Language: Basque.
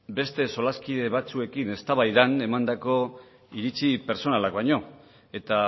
beste solaskide batzuekin eztabaidan emandako iritzi pertsonalak baino eta